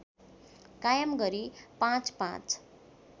कायम गरी पाँचपाँच